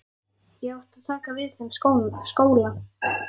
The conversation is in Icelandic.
Ég átti að taka við þeim skóla.